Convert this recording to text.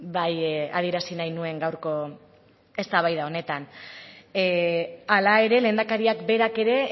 bai adierazi nahi nuen gaurko eztabaida honetan hala ere lehendakariak berak ere